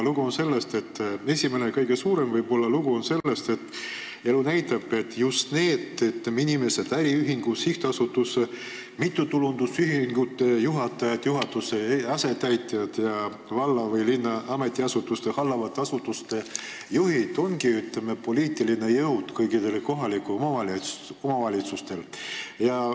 Esimene ja võib-olla kõige suurem lugu on selles, et elu näitab, et just need inimesed, kes on äriühingute, sihtasutuste, mittetulundusühingute juhatajad, juhataja asetäitjad ja valla või linna ametiasutuste juhid, ongi, ütleme, poliitiline jõud kõikides kohalikes omavalitsustes.